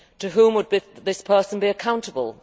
To whom would this person be accountable?